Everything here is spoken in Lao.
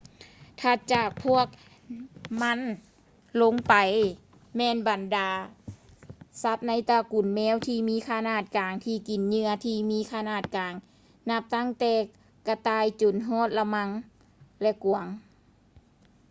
ຖັດຈາກພວກມັນລົງໄປ ແມ່ນບັນດາສັດໃນຕະກຸນແມວທີ່ມີຂະໜາດກາງ ທີ່ກິນເຫຍື່ອທີ່ມີຂະໜາດກາງ ນັບຕັ້ງແຕ່ກະຕ່າຍຈົນຮອດ ລະມັ່ງ ແລະ ກວາງ